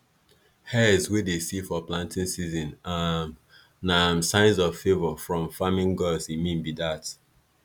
hares wey dey see for planting season um na um signs of favour from farming gods e mean be dat